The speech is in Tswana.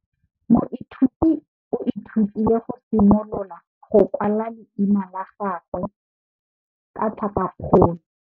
Moithuti o ithutile go simolola go kwala leina la gagwe ka tlhakakgolo.